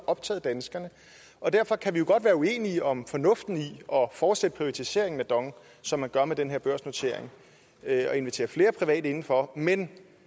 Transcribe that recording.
optaget danskerne og derfor kan vi jo godt være uenige om fornuften i at fortsætte privatiseringen af dong som man gør med den her børsnotering og i at invitere flere private indenfor men